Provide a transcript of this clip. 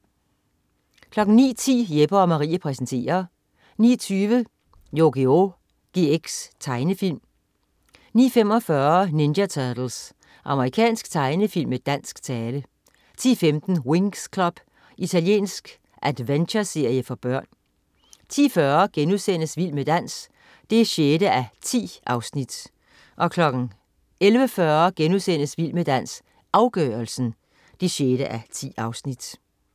09.10 Jeppe & Marie præsenterer 09.20 Yugioh GX. Tegnefilm 09.45 Ninja Turtles. Amerikansk tegnefilm med dansk tale 10.15 Winx Club. Italiensk adventureserie for børn 10.40 Vild med dans 6:10* 11.40 Vild med dans, afgørelsen 6:10*